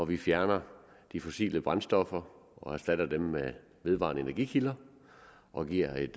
vi fjerner de fossile brændstoffer og erstatter dem med vedvarende energikilder og giver et